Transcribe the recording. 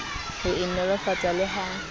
ho e nolofatsa le ha